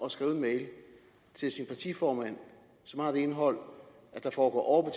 at skrive en mail til sin partiformand som har det indhold at der foregår